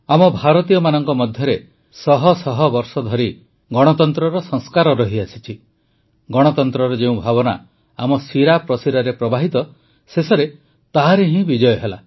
ଆମ ଭାରତୀୟମାନଙ୍କ ମଧ୍ୟରେ ଶହ ଶହ ବର୍ଷ ଧରି ଗଣତନ୍ତ୍ରର ସଂସ୍କାର ରହିଆସିଛି ଗଣତନ୍ତ୍ରର ଯେଉଁ ଭାବନା ଆମ ଶିରାପ୍ରଶିରାରେ ପ୍ରବାହିତ ଶେଷରେ ତାହାରି ହିଁ ବିଜୟ ହେଲା